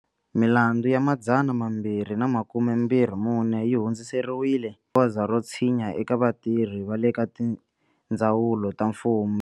Milandzu ya 224 yi hundziseriwile goza ro tshinya eka vatirhi va le ka tindzawulo ta mfumo.